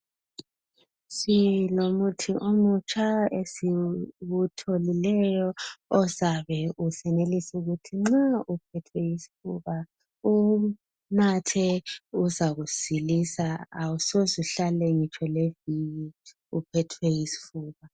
Silomuthi omutsha esiwutholileyo ozabe usenelisa ukuthi nxa uphethwe yisifuba uwunathe uzakusilisa awusoze uhlale ngitsho leviki uphethwe yisifuba